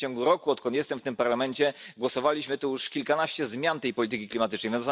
W ciągu roku, odkąd jestem w tym Parlamencie, głosowaliśmy już nad kilkunastoma zmianami polityki klimatycznej.